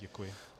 Děkuji.